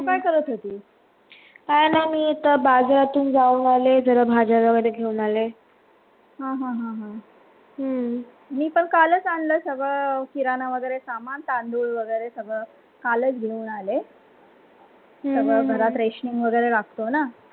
हां हां हम्म मी पण कालच आला सगळा वगैरे सामान तांदूळ वगैरे सगळं कालस घेऊन आले. सगड घरात रेसिऑन लागतोना?